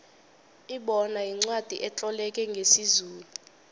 ibona yincwacli etloleke ngesizulu